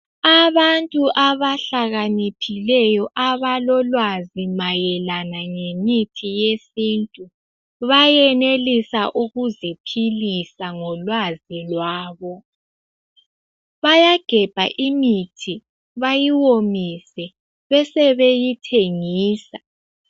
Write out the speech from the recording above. Abantu abahlakaniphileyo abalolwazi mayelana ngemithi yesintu, bayenelisa ukuziphilisa ngolwazi lwabo. Bayagebha imithi bayiwomise bese beyithengisa.